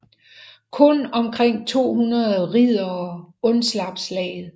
Kun omkring 200 riddere undslap slaget